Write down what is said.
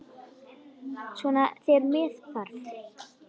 Svona þegar með þarf.